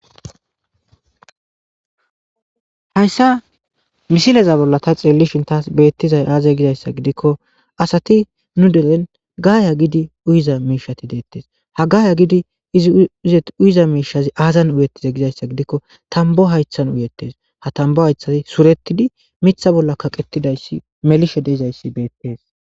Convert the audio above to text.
hayssa misileza bolla ta xeelishin taas beettizay aaze gizayssa gidikko asati nu deren gaaya gidi uyiza miishati deettes ha gaaya gidi iziuyiza miishazi aazan uyettize gizayssa gidikko tambo haythan uyettes ha tambo haythati suretidi mitha bolla kaqetidayssi melishe deizayssi beettees